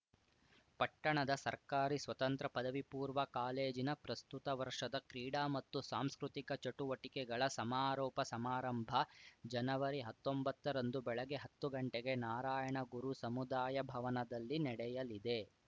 ಪಟ್ಟಣದ ಸರ್ಕಾರಿ ಸ್ವತಂತ್ರ ಪದವಿಪೂರ್ವ ಕಾಲೇಜಿನ ಪ್ರಸ್ತುತ ವರ್ಷದ ಕ್ರೀಡಾ ಮತ್ತು ಸಾಂಸ್ಕೃತಿಕ ಚಟುವಟಿಕೆಗಳ ಸಮಾರೋಪ ಸಮಾರಂಭ ಜನವರಿಹತ್ತೊಂಬತ್ತರಂದು ಬೆಳಗ್ಗೆ ಹತ್ತು ಗಂಟೆಗೆ ನಾರಾಯಣಗುರು ಸಮುದಾಯ ಭವನದಲ್ಲಿ ನಡೆಯಲಿದೆ